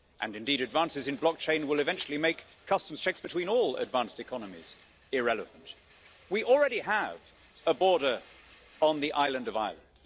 Indeed, advances in blockchain will eventually make customs checks between all advanced economies irrelevant. We already have a border on the island of Ireland.